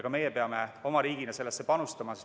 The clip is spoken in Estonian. Ka meie peame oma riigina sellesse panustama.